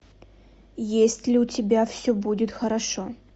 есть ли у тебя все будет хорошо